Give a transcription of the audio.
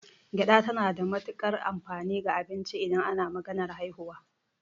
Gyaɗa tana da matukar amfani ga abinci idan ana maganar haihuwa.